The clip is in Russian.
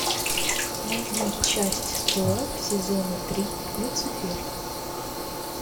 найди часть сорок сезона три люцифер